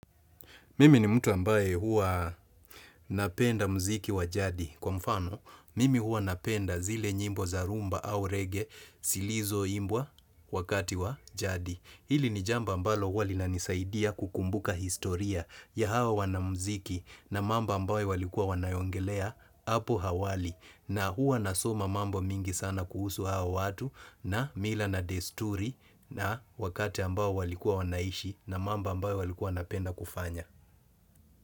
Mimi ni mtu ambaye huwa napenda mziki wa jadi. Kwa mfano, mimi huwa napenda zile nyimbo za rhumba au reggae silizoimbwa wakati wa jadi. Hili ni jamba ambalo huwa linanisaidia kukumbuka historia ya hawa wanamziki na mamba ambaye walikuwa wanayongelea apu hawali. Na huwa nasoma mambo mingi sana kuhusu hawa watu na mila na desturi na wakati ambao walikuwa wanaishi na mamba ambao walikuwa wanapenda kufanya.